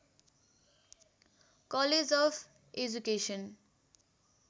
college of education